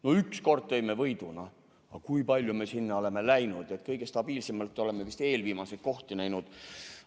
No üks kord tõime võidu, aga kui palju me sinna oleme läinud, kõige stabiilsemalt oleme vist eelviimaseid kohti näinud.